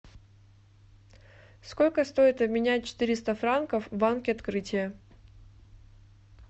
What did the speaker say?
сколько стоит обменять четыреста франков в банке открытие